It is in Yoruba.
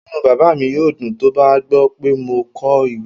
Inú bàbá mi yóò dùn tó bá gbọ́ pé mo kọ ìwé